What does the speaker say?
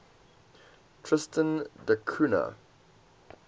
tristan da cunha